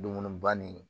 Dumuniba nin